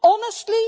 Honestly?